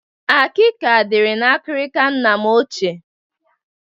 Akịka dịri n'akịrịka nna ochie m.